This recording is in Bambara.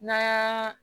N'a y'a